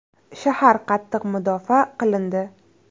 Shahar qattiq mudofaa qilindi.